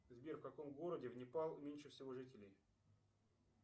сбер в каком городе в непал меньше всего жителей